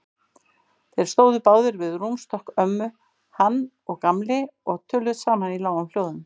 Þeir stóðu báðir við rúmstokk ömmu, hann og Gamli, og töluðu saman í lágum hljóðum.